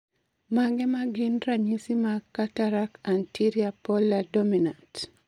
Mage magin ranyisi mag Cataract anterior polar dominant?